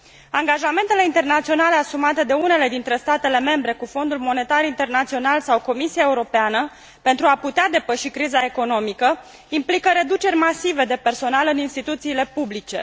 Angajamentele internaționale asumate de unele dintre statele membre cu Fondul Monetar Internațional sau Comisia Europeană pentru a putea depăși criza economică implică reduceri masive de personal în instituțiile publice.